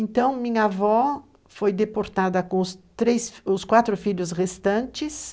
Então, minha avó foi deportada com os três, quatro filhos restantes.